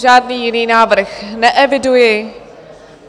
Žádný jiný návrh neeviduji.